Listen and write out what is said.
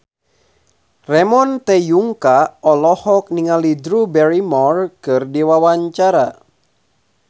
Ramon T. Yungka olohok ningali Drew Barrymore keur diwawancara